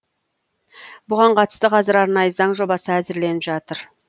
бұған қатысты қазір арнайы заң жобасы әзірленіп жатыр